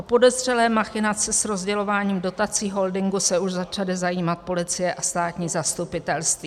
O podezřelé machinace s rozdělováním dotací holdingu se už začaly zajímat policie a státní zastupitelství.